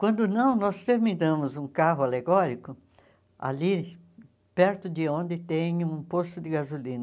Quando não nós terminamos um carro alegórico, ali perto de onde tem um posto de gasolina,